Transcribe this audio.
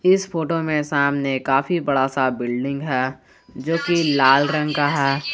इस फोटो में सामने काफी बड़ा सा बिल्डिंग है जो की लाल रंग का है।